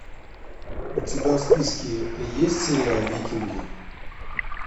у тебя в списке есть сериал викинги